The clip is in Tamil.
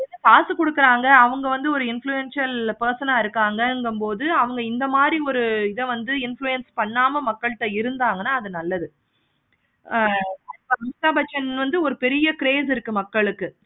காசு கொடுக்குறாங்க அவங்க வந்து ஒரு influencer person ந இருக்காங்க போது அவங்க இந்த மாதிரி ஒரு influence பண்ணாம மக்கள்ட்ட இருந்தாங்கனா அது நல்லது. ஆஹ் அமிதாப்பச்சன் வந்து ஒரு பெரிய grace இருக்கு மக்களுக்கு